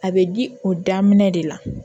A bɛ di o daminɛ de la